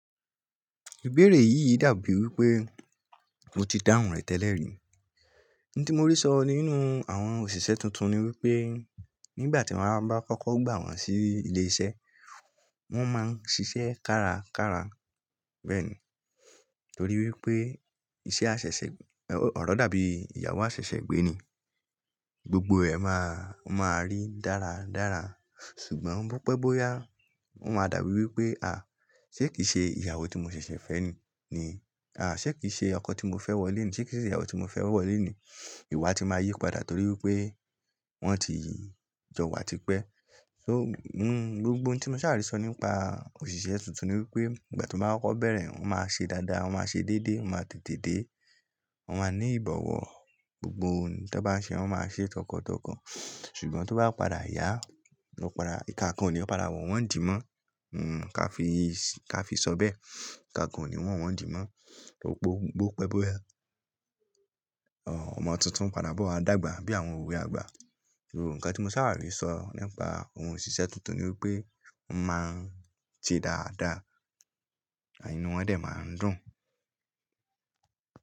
Ìbéèrè yí dàbí wí pé mo ti dáhùn rẹ̀ tẹ́lẹ̀ rí. Ohun tí mo rí sọ nínú àwọn òṣìṣẹ́ tuntun ni wípé nígbà tí wón bá fọkọ́ gbà wón sí ilé iṣẹ́, wón máa ń ṣiṣẹ́ kárakára. Bẹ́ẹ̀ni, torí wípé iṣẹ́ àṣẹ̀ṣẹ̀, ọ̀rọ̀ dàbí ìyàwó àṣẹ̀ṣẹ̀ gbé ni, gbogbo ẹ máa, wón máa rí dáradára. Ṣùgbọ́n bópẹ́bóyá, wón máa dàbí wí pé à, ṣé kìí ṣe ìyàwó tí mo ṣẹ̀ṣẹ̀ fẹ́ ni ni, à, ṣé kìí ṣe ọkọ tí mo fẹ́ wọlé ni, ṣé kìí ṣe ìyàwó tí mo fẹ́ wọlé ni? Ìwà ti máa yípadà torí wípé wón ti jọwà tipẹ́. So, n, gbogbo ohun tí mo sáàrè sọ nípa òṣìṣẹ́ tuntun ni wípé nígbà tí wón bá fọkọ́ bẹ̀rẹ̀, wón máa ṣe dáadáa, wón máa ṣe dédé, wón máa tètèdé, wón máa ní ìbọ̀wọ̀. Gbogbo ohun tí wón bá ń ṣe, wón máa ṣe tọkàntọkàn. Ṣùgbọ́n tó bá padà yá, ló padà ìkà kan òní ó ni padà wọ́n wọ́n nídíì mọ́. N, ká fi sọ bẹ́ẹ̀, ìkà kan ni wọ́n wọ́n nídíì mó. Gbogbo bópẹ́bóyá, ọmọ tuntun padà bọ̀ a dàgbà bí àwọn òwe àgbà. Nǹkan tí mo sáàrè rí sọ nípa ohun ṣíṣe tuntun ni wípé wón máa ń ṣe dáadáa, inú wón dẹ̀ máa ń dùn.